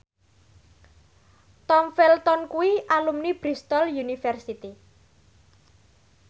Tom Felton kuwi alumni Bristol university